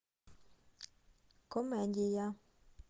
комедия